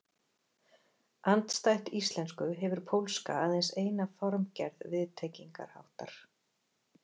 Andstætt íslensku hefur pólska aðeins eina formgerð viðtengingarháttar.